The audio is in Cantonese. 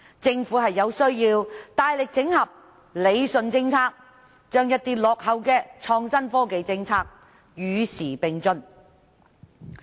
政府有需要大力整合和理順政策，使一些落後的創新科技政策能與時並進。